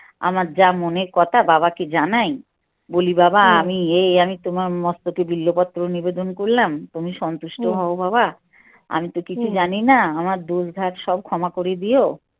আমার যা মনের কথা বাবাকে জানাই বলি বাবা আমি এই আমি তোমার মস্তকে বেল্লপত্র নিবেদন করলাম তুমি সন্তুষ্ট হও বাবা আমি তো কিছু জানিনা আমার দোষ ঘাট সব ক্ষমা করে দিও